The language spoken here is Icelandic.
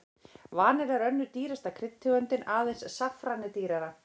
Vanilla er önnur dýrasta kryddtegundin, aðeins saffran er dýrara.